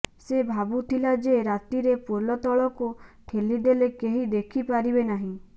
ସେ ଭାବୁଥିଲା ଯେ ରାତିରେ ପୋଲ ତଳକୁ ଠେଲି ଦେଲେ କେହି ଦେଖି ପାରିବେ ନାହିଁ